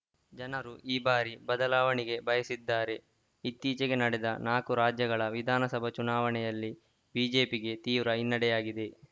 ಜನರು ಈ ಬಾರಿ ಬದಲಾವಣೆಗೆ ಬಯಸಿದ್ದಾರೆ ಇತ್ತೀಚೆಗೆ ನಡೆದ ನಾಲ್ಕು ರಾಜ್ಯಗಳ ವಿಧಾನಸಭ ಚುನಾವಣೆಯಲ್ಲಿ ಬಿಜೆಪಿಗೆ ತೀವ್ರ ಹಿನ್ನಡೆಯಾಗಿದೆ